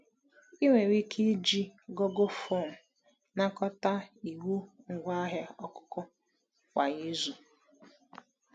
Ị nwere ike iji Google Forms nakọta iwu ngwaahịa ọkụkọ kwa izu.